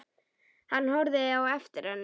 Hann horfði á eftir henni.